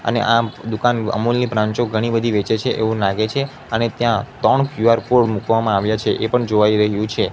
અને આ દુકાન અમૂલ ની બ્રાન્ચે ઘણી બધી વેચે છે એવું લાગે છે અને ત્યાં ત્રણ ક્યુ આર કોડ મૂકવામાં આવ્યા છે એ પણ જોવાઈ રહ્યું છે.